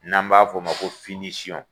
N'an b'a f'o ma ko